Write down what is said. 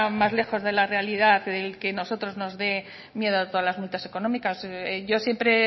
más lejos de la realidad el que nosotros nos de miedo todas las multas económicas yo siempre he